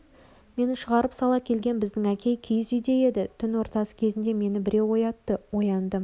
мені шығарып сала келген біздің әкей киіз үйде еді түн ортасы кезінде мені біреу оятты ояндым